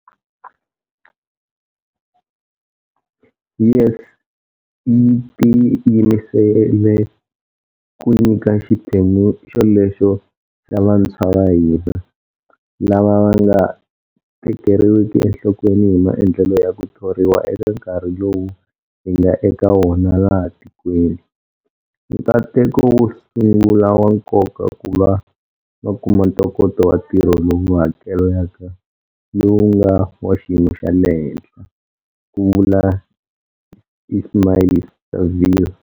YES yi tiyimisele ku nyika xiphemu xolexo xa va ntshwa va hina, lava va nga tekeriwiki enhlokweni hi maendlelo ya ku thoriwa eka nkarhi lowu hi nga eka wona laha tikweni, nkateko wo sungua wa nkoka ku va va kuma ntokoto wa ntirho lowu hakelaka lowu nga wa xiyimo xa le henhla, ku vule Ismail-Saville.